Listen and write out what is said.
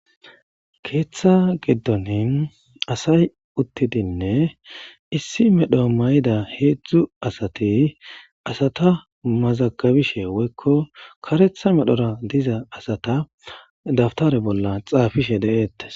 keeththa giddonin asay uttidinne issi medho mayida heedzdzu asati asata mazagabishe woykko karetha medhora diza asata daftare bolla xaafishe deeettes